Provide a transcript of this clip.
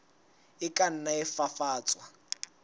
a ka nna a fafatswa